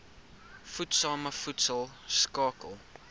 voedsame voedsel skakel